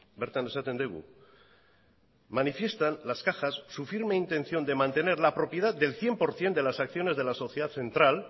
bertan esaten dugu manifiestan las cajas su firme intención de mantener la propiedad del cien por ciento de las acciones de la sociedad central